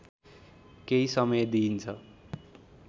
केही समय दिइन्छ